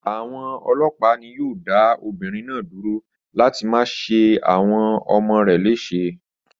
Àwọn ọlọ́pàá ni yóò dá obìnrin náà dúró láti má ṣe àwọn ọmọ rẹ̀ léṣe.